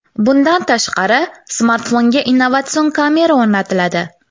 Bundan tashqari, smartfonga innovatsion kamera o‘rnatiladi.